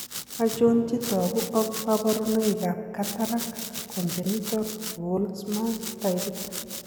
Achon chetogu ak kaborunoik ab cataract congental Volkmann taipit?